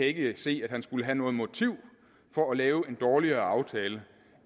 ikke kan se at han skulle have noget motiv for at lave en dårligere aftale